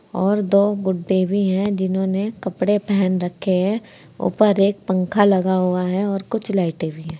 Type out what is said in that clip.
और दो गुडे भी हैं जिन्होंने कपड़े पहन रखे हैं ऊपर एक पंखा लगा हुआ है और कुछ लाइटें भी हैं।